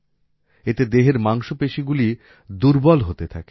এতে দেহের মাংসপেশীগুলি দুর্বল হতে থাকে